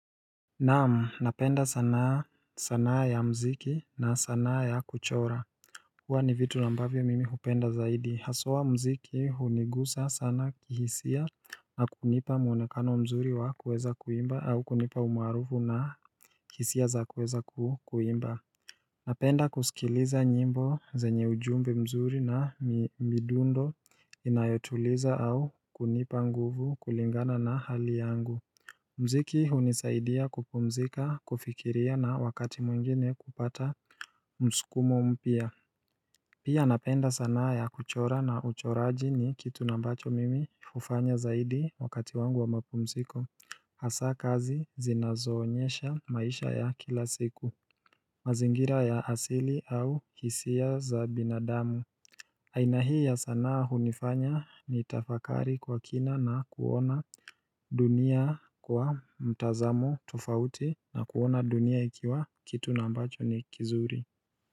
Naamu, napenda sanaa ya mziki na sanaa ya kuchora huwa ni vitu ambavyo mimi hupenda zaidi, haswa mziki hunigusa sana kihisia na kunipa muonekano mzuri wa kuweza kuimba au kunipa umaarufu na hisia za kuweza kuimba Napenda kusikiliza nyimbo zenye ujumbe mzuri na midundo inayotuliza au kunipa nguvu kulingana na hali yangu Mziki hunisaidia kupumzika kufikiria na wakati mwingine kupata msukumo mpya Pia napenda sanaa ya kuchora na uchoraji ni kitu nambacho mimi hufanya zaidi wakati wangu wa mapumziko Hasaa kazi zinazoonyesha maisha ya kila siku mazingira ya asili au hisia za binadamu aina hii ya sanaa hunifanya ni tafakari kwa kina na kuona dunia kwa mtazamo tufauti na kuona dunia ikiwa kitu nambacho ni kizuri.